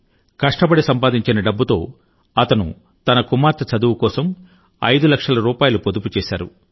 కష్టపడి సంపాదించిన డబ్బుతో అతను తన కుమార్తె చదువు కోసం ఐదు లక్షల రూపాయలు పొదుపు చేశారు